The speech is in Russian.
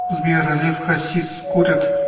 сбер лев хасис курит